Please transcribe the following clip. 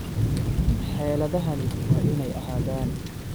Xeeladahani waa inay ahaadaan